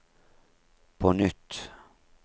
på nytt